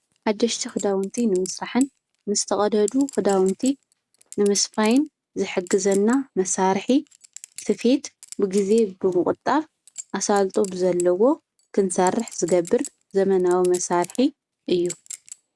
ሓደሽቲ ኽዳውንቲ ንምስራሕን ምስ ተቐደዱ ኽዳውንቲ ንምስፋይን ዝሕግዘና መሣርሒ ስፌት ብጊዜ ብምቝጣብ ኣሣልጦ ብዘለዎ ክንሣርሕ ዝገብር ዘመናዊ መሣርሒ እዩ።